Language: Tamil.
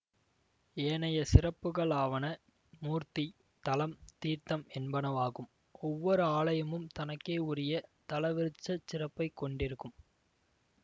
ஏனைய சிறப்புகளாவன மூர்த்தி தலம் தீர்த்தம் என்பனவாகும் ஒவ்வொரு ஆலயமும் தனக்கே உரிய தலவிருட்சச் சிறப்பைக் கொண்டிருக்கும்